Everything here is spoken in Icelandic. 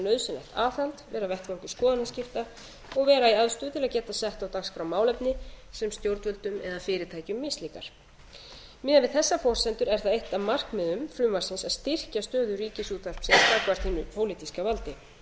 nauðsynlegt aðhald vera vettvangur skoðanaskipta og vera í aðstöðu til að geta sett á dagskrá málefni sem stjórnvöldum eða fyrirtækjum mislíkar miðað við þessar forsendur er það eitt af markmiðum frumvarpsins að styrkja stöðu ríkisútvarpsins gagnvart hinu pólitíska valdi við